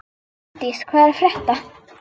Finndís, hvað er að frétta?